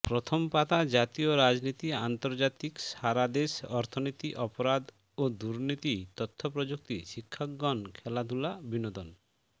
প্রথম পাতা জাতীয় রাজনীতি আন্তর্জাতিক সারাদেশ অর্থনীতি অপরাধ ও দুর্নীতি তথ্য প্রযুক্তি শিক্ষাঙ্গন খেলাধুলা বিনোদন